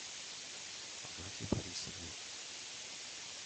агафье борисовне